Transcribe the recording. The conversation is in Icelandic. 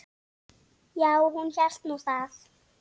Já, hún hélt nú það.